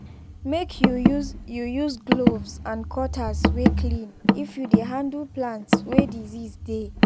make you use you use gloves and cutters way clean if you dey handle plants way disease day